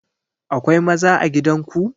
Akwai maza a gidan ku?